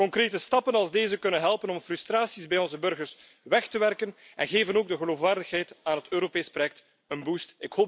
Concrete stappen als deze kunnen helpen om frustraties bij onze burgers weg te werken en geven ook de geloofwaardigheid van het Europees project een boost